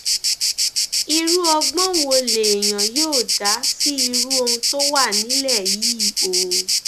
irú ọgbọn wo lèèyàn yóò dá sí irú ohun tó wà nílẹ yìí o